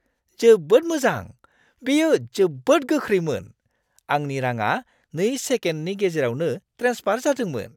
जोबोद मोजां। बेयो जोबोद गोख्रैमोन। आंनि रांङा 2 सेकेन्डनि गेजेरावनो ट्रेन्सफार जादोंमोन!